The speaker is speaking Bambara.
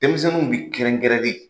Denmisɛnninw bi kɛrɛnkɛrɛn de.